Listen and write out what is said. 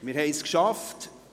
Wir haben es geschafft.